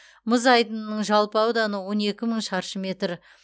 мұз айдынының жалпы ауданы он екі мың шаршы метр